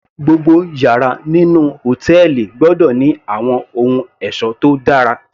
Gbogbo yàrá nínú hòtẹ́ẹ̀lì gbọ́dọ̀ ní àwọn ohun ẹ̀ṣọ́ tó dára